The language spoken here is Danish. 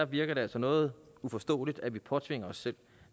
virker altså noget uforståeligt at vi påtvinger os selv